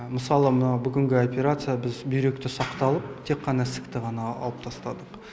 мысалы мына бүгінгі операция біз бүйректі сақталып тек қана ісікті ғана алып тастадық